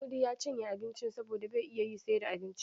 Mudi ya cinye abincin saboda bai iya yi sai da abinci.